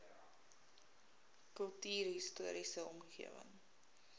kultuurhis toriese omgewing